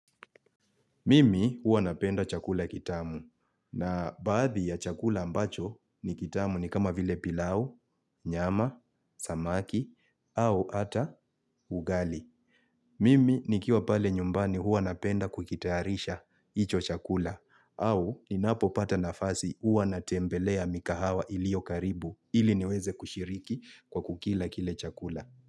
Mimi huwa napenda chakula kitamu na baadhi ya chakula ambacho ni kitamu ni kama vile pilau, nyama, samaki au ata ugali. Mimi nikiwa pale nyumbani huwa napenda kukitayarisha hicho chakula au ninapopata nafasi huwa natembelea mikahawa iliyo karibu ili niweze kushiriki kwa kukila kile chakula.